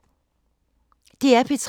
DR P3